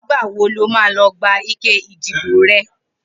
Nigbà wó ló mà lọ gbá iké idibó rè?